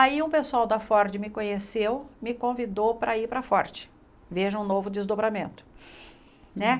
Aí um pessoal da Ford me conheceu, me convidou para ir para a Ford, veja um novo desdobramento né.